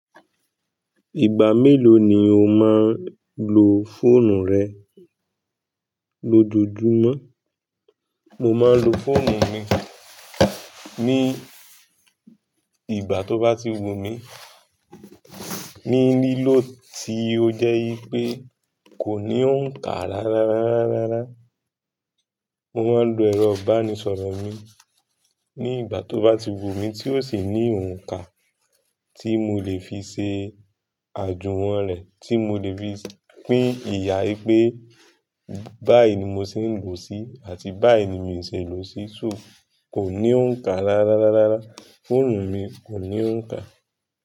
Ìgbà mélòó ni o máa ń lo fóònù rẹ lójoojúmọ́? Mo máa ń lo fóònù mi ní ìgbà tó bá ti wù mí, ní lílọ̀ tí ó jẹ́ ipé kò ní òǹkà rárá. Mo máa ń lo ẹ̀rọ ìbánisọ̀rọ̀ mi ní ìgbà tó bá ti wù mí tí ó sì ní òǹkà tí mo lè fi ṣe àjùwọ̀n rẹ̀, tí mo lè fi pín ìyà ipé báyìí ni mo ti ń lò sí àti báyìí ni mii ṣe lọ sí, so kò ní òǹkà rárá, fóònù mi kò ní òǹkà.